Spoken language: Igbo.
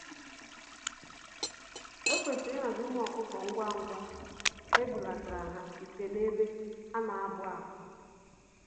Ekwesịrị ihazi ụmụ ọkụkọ ngwá ngwá ebulatara ha site n'ebe ana abụ-àkwà.